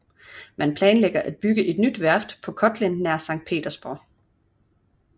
Man planlægger at bygge et nyt værft på Kotlin nær Sankt Petersborg